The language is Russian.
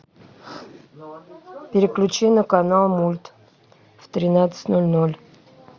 переключи на канал мульт в тринадцать ноль ноль